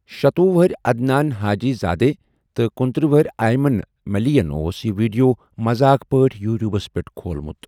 شتوُہ وَہرۍ عدنان حاجی زادے تہٕ کنُتٔرہ وُہُر ایمن ملی یَن اوس یہِ ویڈیو مذاق پٲٹھۍ یوٹیوبَس پٮ۪ٹھ کھولمُت۔